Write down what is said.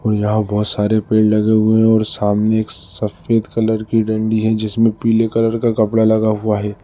यहां बोहोत सारे पेड़ लगे हुए हैं और सामने एक सफेद कलर की डंडी है जिसमें पीले कलर का कपड़ा लगा हुआ है।